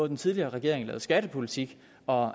den tidligere regering lavede skattepolitik og